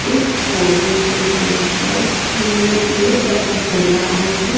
इस फोटो को देखकर ये पता चल रहा है कि--